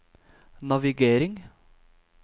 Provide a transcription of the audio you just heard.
navigering